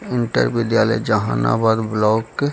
Inter विद्यालय Jehanabad block है ।